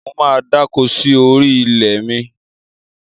Mo máa dáko sí orí ilẹ̀ mi.